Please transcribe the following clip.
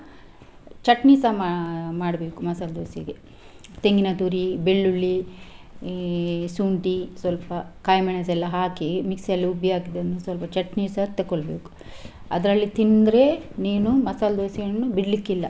ಚಟ್ನಿಸ ಮಾ~ ಮಾಡ್ಬೇಕು ಮಸಾಲಾ ದೋಸಾ ಗೆ ತೆಂಗಿನ ತುರಿ, ಬೆಳ್ಳುಳ್ಳಿ, ಶುಂಠಿ ಸ್ವಲ್ಪ ಕಾಯಿಮೆಣಸೆಲ್ಲ ಹಾಕಿ mixie ಯಲ್ಲಿ ರುಬ್ಬಿ ಹಾಕಿದನ್ನು ಸ್ವಲ್ಪ ಚಟ್ನಿಸ ತಕೊಳ್ಬೇಕು. ಅದ್ರಲ್ಲಿ ತಿಂದ್ರೆ ನೀನು ಮಸಾಲಾ ದೋಸಾ ಯನ್ನು ಬಿಡ್ಲಿಕ್ಕಿಲ್ಲ.